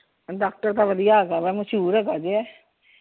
Doctor ਤਾਂ ਵਧੀਆ ਹੈਗਾ ਵਾ ਮਸ਼ਹੂਰ ਹੈਗਾ ਜੇ ਇਹ।